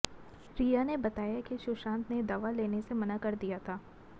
रिया ने बताया कि सुशांत ने दवा लेने से मना कर दिया था